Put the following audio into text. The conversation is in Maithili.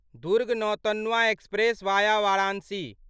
Durg Nautanwa express via Varanasi